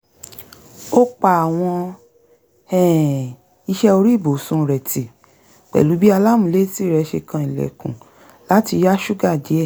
ó pa àwọn um iṣẹ́ orí ibùsùn rẹ̀ ti pẹ̀lú bí alámùúlétì rẹ̀ ṣe kan ilẹ̀kùn láti yá ṣúgà díẹ̀